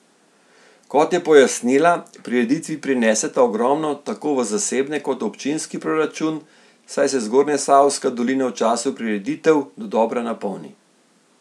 Kot je pojasnila, prireditvi prineseta ogromno tako v zasebne kot v občinski proračun, saj se Zgornjesavska dolina v času prireditev dodobra napolni.